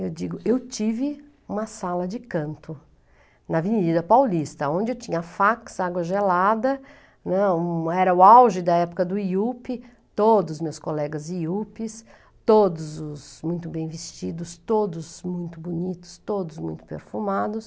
Eu digo, eu tive uma sala de canto na Avenida Paulista, onde eu tinha fax, água gelada, né, era o auge da época do Iupi, todos os meus colegas Iupis, todos os muito bem vestidos, todos muito bonitos, todos muito perfumados.